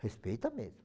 Respeita mesmo.